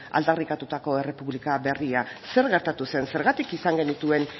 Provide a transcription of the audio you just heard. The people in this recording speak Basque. aldarrikatutako errepublika berria zer gertatu zen zergatik izan genituen